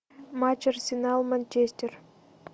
матч арсенал манчестер